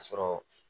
Ka sɔrɔ